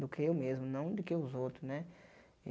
Do que eu mesmo, não do que os outros, né?